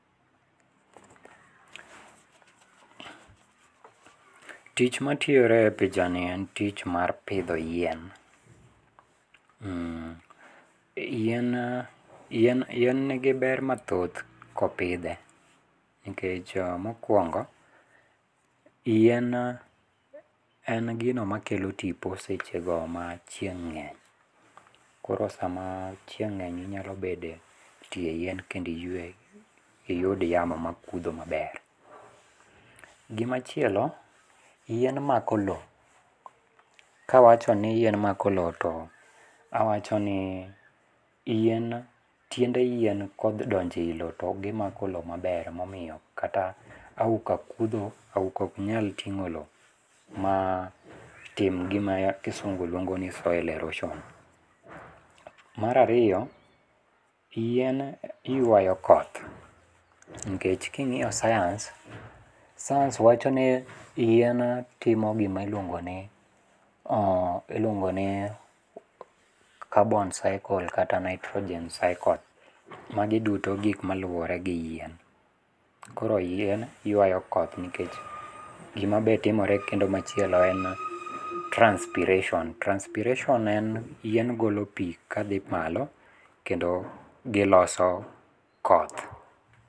Tich matiore e pichani en tich mar pidho yien. Mm..yien..yien yien nigi ber mathoth kopidhe, nkech mokwongo, yien en gino makelo tipo sechego machieng' ng'eny. Koro sama chieng' ng'eny inyalo bede tie yien kendi ywe, iyud yamo makudho maber. Gima chielo, yien mako lowo. Kawacho ni yien mako lowo to awacho ni yien tiende yien kodonjo ei lowo togi mako lowo maber makata auka kudho, auka oknyal ting'o lowo, matim gima kisungu lwongo ni soil erosion. Marario, yien ywayo koth, nkech king'io science, science wacho ni yien timo gima iluongo ni uuh iluongo ni carbnon cycle kata nitrogen cycle, magi duto gik maluore gi yien. Koro yien ywayo koth nikech gima be timore kendo machielo kendo en transpiration, transpiration en yien golo pii kadhi malo kendo giloso koth.